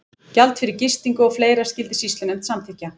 Gjald fyrir gistingu og fleira skyldi sýslunefnd samþykkja.